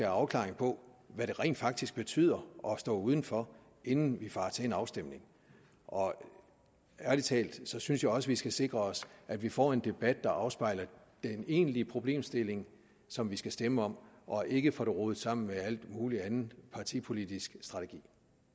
afklaring på hvad det rent faktisk betyder at stå udenfor inden vi farer til en afstemning ærlig talt så synes jeg også vi skal sikre os at vi får en debat der afspejler den egentlige problemstilling som vi skal stemme om og ikke får det rodet sammen med al mulig anden partipolitisk strategi